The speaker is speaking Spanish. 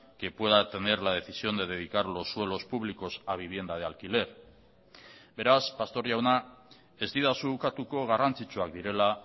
que pueda tener la decisión de dedicar los suelos públicos a vivienda de alquiler beraz pastor jauna ez didazu ukatuko garrantzitsuak direla